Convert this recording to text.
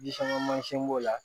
Ji sanga mansin b'o la